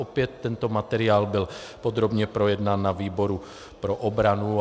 Opět tento materiál byl podrobně projednán na výboru pro obranu.